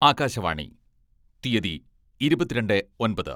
ആകാശവാണീ തീയ്യതി: ഇരുപത്തിരണ്ടേ ഒൻപത്